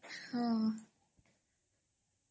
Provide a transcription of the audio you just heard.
ହଁ